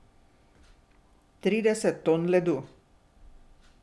Trideset ton ledu.